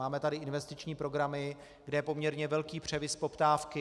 Máme tady investiční programy, kde je poměrně velký převis poptávky.